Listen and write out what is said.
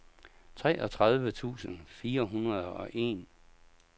treogtredive tusind fire hundrede og en